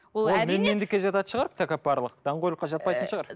ол менмендікке жататын шығар тәкаппарлық даңғойлыққа жатпайтын шығар